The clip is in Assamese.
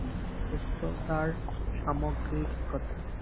সুস্থতাৰ সামগ্ৰিক কথা